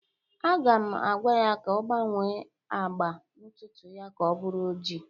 Aga m agwa ya ka ọ gbanwee agba ntutu ya ka ọ bụrụ oji